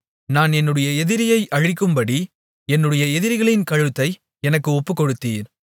நான் என்னுடைய எதிரியை அழிக்கும்படி என்னுடைய எதிரிகளின் கழுத்தை எனக்கு ஒப்புக்கொடுத்தீர்